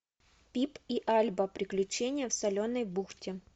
пип и альба приключения в соленой бухте